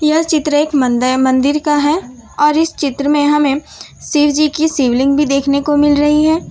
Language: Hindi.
यह चित्र एक मंदे मंदिर का है और इस चित्र में हमें शिव जी की शिवलिंग भी देखने को मिल रही है।